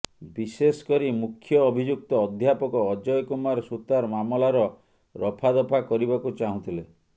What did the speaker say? ବିଶେଷକରି ମୁଖ୍ୟ ଅଭିଯୁକ୍ତ ଅଧ୍ୟାପକ ଅଜୟ କୁମାର ସୂତାର ମାମଲାର ରଫାଦଫା କରିବାକୁ ଚାହୁଁଥିଲେ